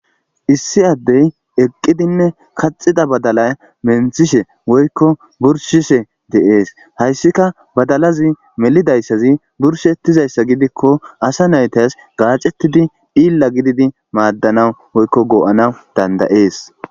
issi addey eqqidinne kaxida badala menthishe woykko burshishe deees hayssika badalazi melidayssazi burshettizayssa gidikko asa naytas gaacettidi illa gididi maaddanau woykko goo7ana dandayees